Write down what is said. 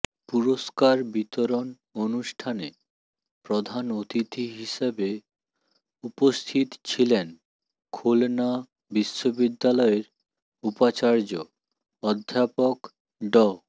পুরস্কার বিতরণ অনুষ্ঠানে প্রধান অতিথি হিসেবে উপস্থিত ছিলেন খুলনা বিশ্ববিদ্যালয়ের উপাচার্য অধ্যাপক ড